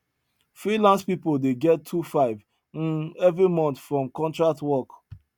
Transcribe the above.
freelance people dey get two five um every month from contract work